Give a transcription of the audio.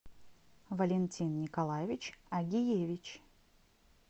валентин николаевич агиевич